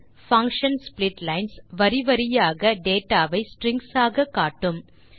function splitlines வரி வரியாக data வை ஸ்ட்ரிங்ஸ் ஆக காட்டும்